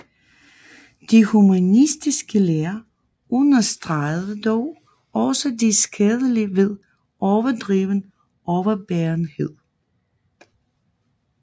De humanistiske lærere understregede dog også det skadelige ved overdreven overbærenhed